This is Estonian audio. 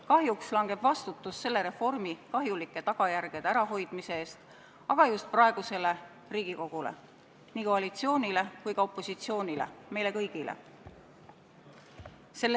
Kahjuks langeb vastutus selle reformi kahjulike tagajärgede ärahoidmise eest aga just praegusele Riigikogule – nii koalitsioonile kui ka opositsioonile, meile kõigile.